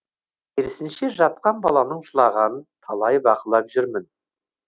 керісінше жатқан баланың жылағанын талай бақылап жүрмін